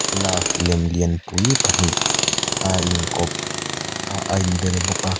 love lem lianpui pahnih a inkawp a a inbel bawk a.